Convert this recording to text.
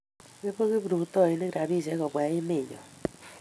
ipu kiprutoinik rapishek kobwa emenyo